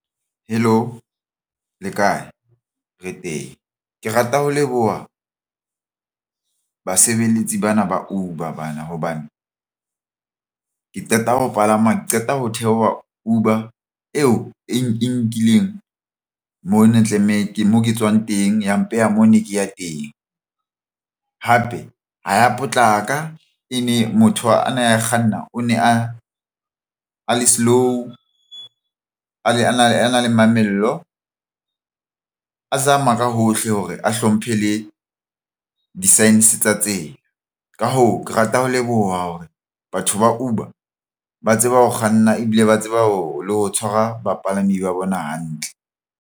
Hello, le kae re teng. Ke rata ho leboha basebeletsi bana ba Uber bana hobane ke qeta ho palama ke qeta ho theoha Uber eo e nkileng mona tlamehile moo ke tswang teng. Ya mpeha moo ne ke ya teng hape ha ya potlaka e ne motho ana a kganna o ne a a le slow a le ana a na le mamello a zama ka hohle hore a hlomphe le di-sign tsa tsela. Ka hoo, ke rata ho leboha hore batho ba Uber ba tseba ho kganna ebile ba tseba ho tshwara bapalami ba bona hantle.